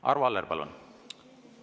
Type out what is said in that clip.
Arvo Aller, palun!